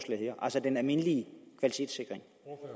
her altså den almindelige kvalitetssikring